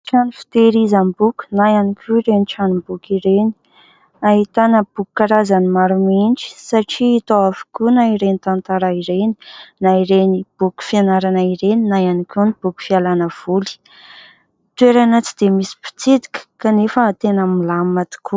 Trano fitehirizam-boky na ihany koa ireny tranomboky ireny. Ahitana boky karazany maro mihitsy satria hita ao avokoa na ireny tantara ireny na ireny boky fianarana ireny na ihany koa ny boky fialana voly. Toerana tsy dia misy mpitsidika kanefa tena milamina tokoa.